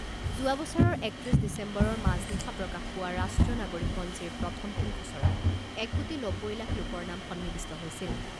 যোৱা বছৰৰ একত্ৰিছ ডিচেম্বৰৰ মাজনিশা প্ৰকাশ পোৱা ৰাষ্ট্ৰীয় নাগৰিকপঞ্জীৰ প্ৰথমখন খছৰাত এক কোটি নব্বৈ লাখ লোকৰ নাম সন্নিৱিষ্ট হৈছিল।